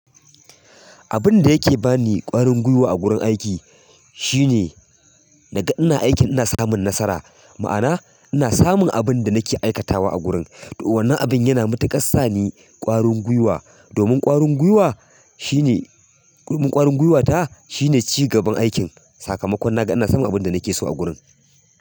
Abin da yake ba ni ƙwarin gwiwa a gurin aiki shine naga ina aikin ina samun nasara. Ma'ana ina samun abin da nake aikatawa a gurin. To wannan abin yana matuƙas sa ni ƙwarin gwiwa domin ƙwarin gwiwa shine, domin ƙwarin gwiwata shine cigaban aikin. Sakamakon naga ina samun abin da nake so a gurin.